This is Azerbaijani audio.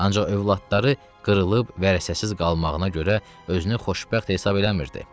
Ancaq övladları qırılıb vərəsəsiz qalmağına görə özünü xoşbəxt hesab eləmirdi.